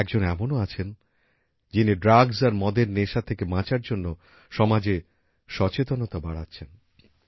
একজন এমনও আছেন যিনি ড্রাগস আর মদ এর নেশা থেকে বাঁচার জন্য সমাজে সচেতনতা বাড়াচ্ছেন